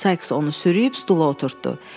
Sayks onu sürüyüb stula oturtdü.